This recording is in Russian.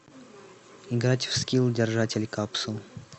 играть в скилл держатель капсул